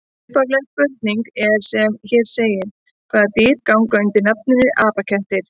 Upphafleg spurning er sem hér segir: Hvaða dýr ganga undir nafninu apakettir?